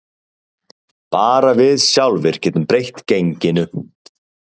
Bara við sjálfir getum breytt genginu